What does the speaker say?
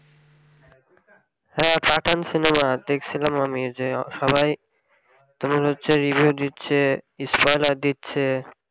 হ্যাঁ pathan সিনেমা দেকছিলাম আমি যে সবাই তোমার হচ্ছে review দিচ্ছে spoiler দিচ্ছে